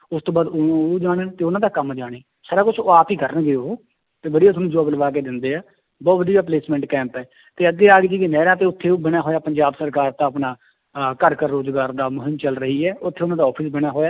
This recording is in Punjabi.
ਉਸ ਤੋਂ ਬਾਅਦ ਉਹ, ਉਹ ਜਾਣਨ ਤੇ ਉਹਨਾਂ ਦਾ ਕੰਮ ਜਾਣੇ, ਸਾਰਾ ਕੁਛ ਉਹ ਆਪ ਹੀ ਕਰਨਗੇ ਉਹ ਤੇ ਵਧੀਆ ਤੁਹਾਨੂੰ job ਲਵਾ ਕੇ ਦਿੰਦੇ ਹੈ, ਬਹੁਤ ਵਧੀਆ placement camp ਹੈ ਤੇ ਅੱਗੇ ਨਹਿਰਾਂ ਤੇ ਉੱਥੇ ਉਹ ਬਣਿਆ ਹੋਇਆ ਪੰਜਾਬ ਸਰਕਾਰ ਦਾ ਆਪਣਾ ਅਹ ਘਰ ਘਰ ਰੋਜ਼ਗਾਰ ਦਾ ਮੁਹਿੰਮ ਚੱਲ ਰਹੀ ਹੈ ਉੱਥੇ ਉਹਨਾਂ ਦਾ office ਬਣਿਆ ਹੋਇਆ